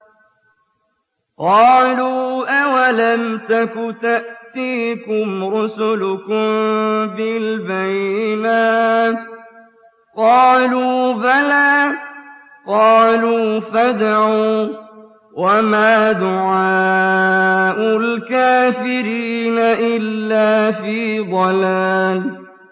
قَالُوا أَوَلَمْ تَكُ تَأْتِيكُمْ رُسُلُكُم بِالْبَيِّنَاتِ ۖ قَالُوا بَلَىٰ ۚ قَالُوا فَادْعُوا ۗ وَمَا دُعَاءُ الْكَافِرِينَ إِلَّا فِي ضَلَالٍ